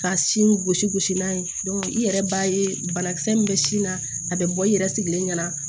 Ka sin gosi gosi n'a ye i yɛrɛ b'a ye banakisɛ min bɛ sin na a bɛ bɔ i yɛrɛ sigilen ɲɛna